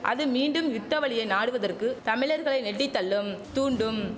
அது மீண்டும் யுத்த வழியை நாடுவதற்கு தமிழர்களை நெட்டித் தள்ளும் தூண்டும்